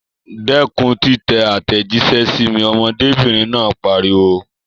Dẹ́kun títẹ àtẹ̀jíṣẹ́ sí mi! Ọmọdébìnrin náà pariwo.